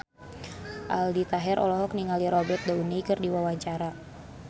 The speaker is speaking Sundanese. Aldi Taher olohok ningali Robert Downey keur diwawancara